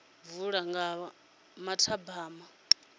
vula u bva nga mathabama